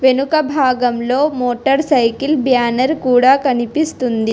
వెనుక భాగంలో motorcycle banner కూడా కనిపిస్తుంది.